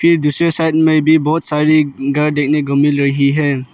दूसरे साइड में भी बहोत सारी घर देखने को मिल रही है।